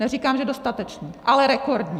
Neříkám, že dostatečný, ale rekordní.